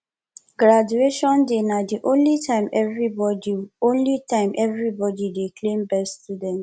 graduation day na the only time everybody only time everybody dey claim best student